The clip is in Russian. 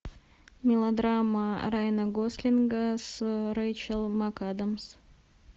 мелодрама райана гослинга с рейчел макадамс